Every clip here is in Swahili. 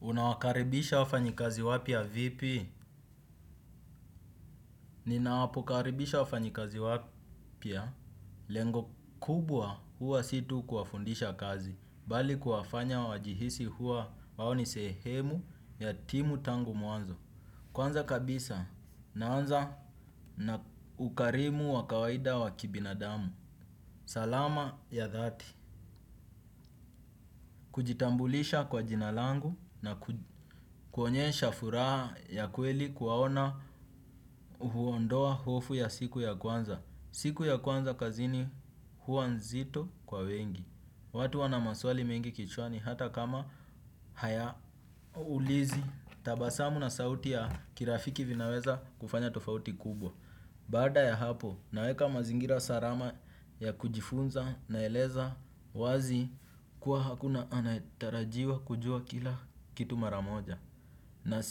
Unawakaribisha wafanyikazi wapya vipi? Ninapo wakaribisha wafanyikazi wapya, lengo kubwa huwa si tu kuwafundisha kazi, bali kuwafanya wajihisi huwa wao ni sehemu ya timu tangu mwanzo. Kwanza kabisa naanza na ukarimu wa kawaida wa kibinadamu. Salama ya dhati. Kujitambulisha kwa jina langu na kuonyesha furaha ya kweli kuwaona huondoa hofu ya siku ya kwanza. Siku ya kwanza kazini huwa nzito kwa wengi. Watu wana maswali mengi kichwani hata kama hayaulizi tabasamu na sauti ya kirafiki vinaweza kufanya tofauti kubwa. Baada ya hapo naweka mazingira salama ya kujifunza na eleza wazi kuwa hakuna anayetarajiwa kujua kila kitu maramoja. Na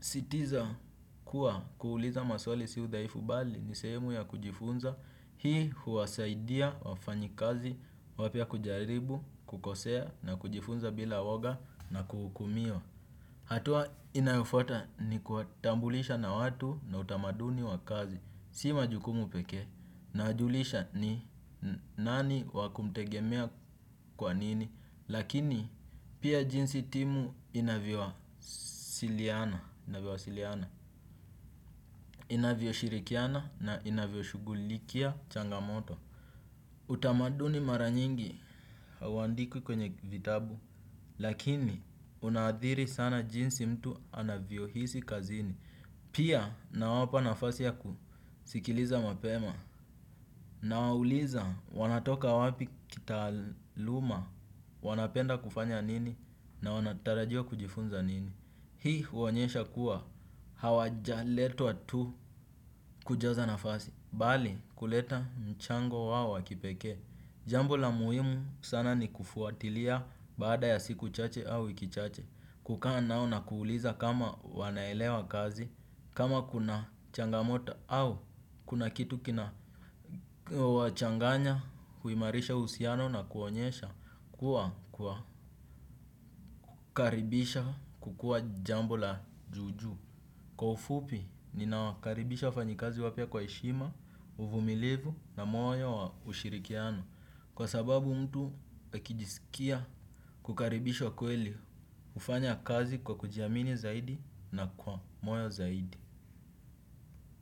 sitiza kuwa kuuliza maswali sio udhaifu bali ni sehemu ya kujifunza hii huwasaidia wafanyikazi wapya kujaribu kukosea na kujifunza bila woga na kuhukumiwa. Hatua inayofuata ni kuwatambulisha na watu na utamaduni wa kazi, si majukumu pekee, nawajulisha ni nani wakumtegemea kwa nini, lakini pia jinsi timu inavyo wasiliana, inavyo shirikiana na inavyo shughulikia changamoto. Utamaduni mara nyingi hauandikwi kwenye vitabu, lakini unadhiri sana jinsi mtu anavyo hisi kazini. Pia nawapa nafasi ya kusikiliza mapema. Na wauliza wanatoka wapi kitaaluma, wanapenda kufanya nini na wanatarajia kujifunza nini. Hii huonyesha kuwa hawajaletwa tu kujaza nafasi. Bali kuleta mchango wao wa kipekee. Jambo la muhimu sana ni kufuatilia baada ya siku chache au wiki chache kukaa nao na kuuliza kama wanaelewa kazi kama kuna changamoto au kuna kitu kina wachanganya. Kuimarisha uhusiano na kuonyesha Kuwa Kukaribisha kukua jambo la juju. Kwa ufupi ninawakaribisha wafanyikazi wapya kwa heshima uvumilivu na moyo wa ushirikiano. Kwa sababu mtu akijisikia kukaribishwa kweli hufanya kazi kwa kujiamini zaidi na kwa moyo zaidi.